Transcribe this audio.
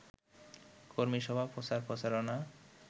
কর্মীসভা প্রচার-প্রচারণা